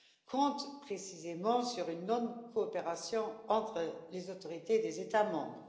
comptent précisément sur une non coopération entre les autorités des États membres.